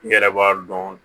I yɛrɛ b'a dɔn